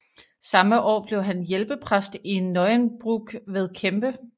Samme år blev han hjælpepræst i Neuenbrook ved Krempe